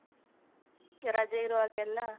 ರಜೆ ಇರುವಾಗೆಲ್ಲ .